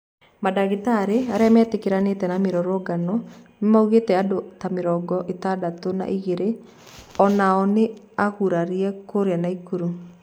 Mandagĩtarĩ arĩa metĩkĩranĩte na mĩrũrũngano nĩmaugĩte andũ ta mĩrongo ĩtandatũ na ĩgirĩ onao nĩ agũrarĩe kũrĩa Naĩkuru.